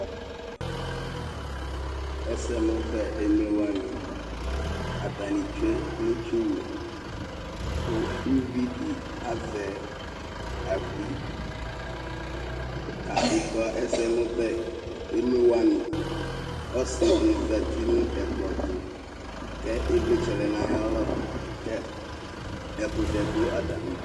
Ɛsɛmʋbɛ emlo wani atani tsue nʋ itsuwʋ kʋ ʋvidi azɛ abui kadʋ kʋ ɛsɛmʋbɛ emlo wani kʋ ɔsiɛ di zati nʋ ɛkplɔtʋ kʋ ivlitsɛ lɛnʋ ayʋ alɔ ɛkʋtɛ dʋ atami idʋ